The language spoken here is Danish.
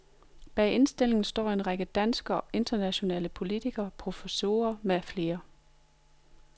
Bag indstillingen står en række danske og internationale politikere, professorer med flere.